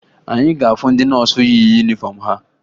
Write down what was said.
Anyị ga-ahụ ndị nọọsụ yi yunifọmụ ha